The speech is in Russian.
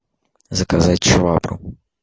заказать швабру